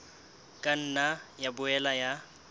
ka nna ya boela ya